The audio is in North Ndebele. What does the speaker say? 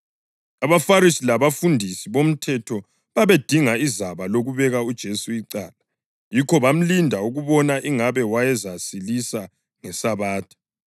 AbaFarisi labafundisi bomthetho babedinga izaba lokubeka uJesu icala, yikho bamlinda ukubona ingabe wayezasilisa ngeSabatha.